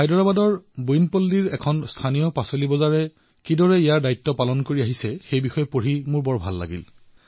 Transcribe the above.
হায়দৰাবাদৰ বোয়িনপল্লীত এখন স্থানীয় বজাৰে কিদৰে নিজৰ দায়িত্ব পালন কৰি আছে সেয়া দেখি মোৰ খুব ভাল লাগিছে